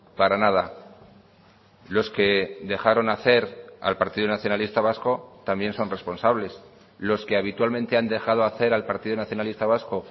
para nada los que dejaron hacer al partido nacionalista vasco también son responsables los que habitualmente han dejado hacer al partido nacionalista vasco